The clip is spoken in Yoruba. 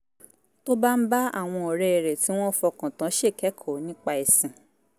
tó bá ń bá àwọn ọ̀rẹ́ rẹ̀ tí wọ́n fọkàn tán ṣèkẹ́kọ̀ọ́ nípa ẹ̀sìn